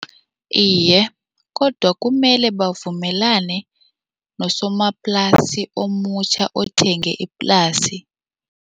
Iye, kodwa kumele bavumelane nosomaplasi omutjha othenge iplasi.